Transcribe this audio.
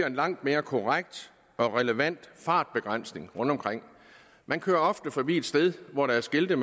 en langt mere korrekt og relevant fartbegrænsning rundtomkring man kører ofte forbi et sted hvor der er skilte